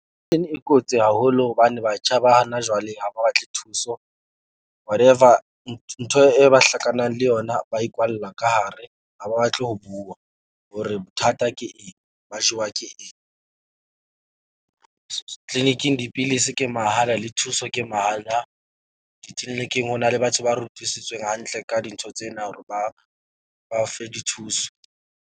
E kotsi haholo hobane batjha ba hana jwale ha ba batle thuso. Whatever ntho e ba hlakanang le yona, ba ikwalla ka hare ha ba batle ho bua hore bothata ke eng, ba jewa ke eng. Clinic-ing dipilisi ke mahala le thuso ke mahala. Di-clinic-ing ho na le batho ba rutisitsweng hantle ka dintho tsena hore ba fe dithuso.